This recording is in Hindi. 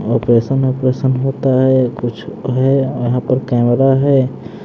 ऑपरेशन ऑपरेशन होता हैं कुछ है यहां पर कैमरा है।